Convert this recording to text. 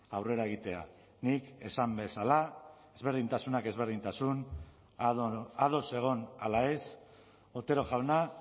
aurrera egitea nik esan bezala ezberdintasunak ezberdintasun ados egon ala ez otero jauna